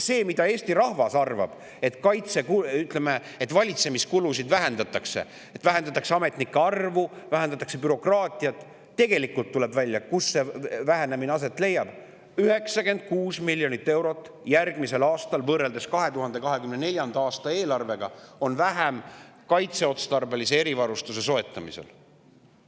Eesti rahvas arvab, et valitsemiskulusid vähendatakse, et vähendatakse ametnike arvu, vähendatakse bürokraatiat, aga tegelikult tuleb välja, kus see vähenemine aset leiab – 96 miljonit eurot on järgmisel aastal võrreldes 2024. aasta eelarvega vähem kaitseotstarbelise erivarustuse soetamiseks.